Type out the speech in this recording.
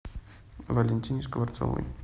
валентине скворцовой